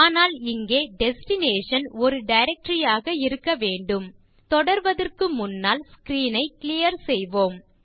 ஆனால் இங்கே டெஸ்டினேஷன் ஒரு டைரக்டரி ஆக இருக்க வேண்டும் தொடர்வதற்கு முன்னால் ஸ்க்ரீன் ஐ கிளியர் செய்யலாம்